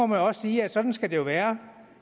må også sige at sådan skal det være